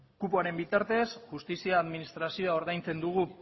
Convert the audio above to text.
kupoaren bitartez justizia administrazioa ordaintzen dugu